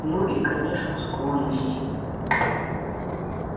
ну и конечно склонность